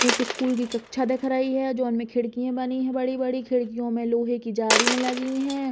एक स्कूल की कक्षा दिख रही है जोन में खिड़कीये बनी बड़ी-बड़ी। खिड़कियों में लोहे की जालीयां लगी हैं।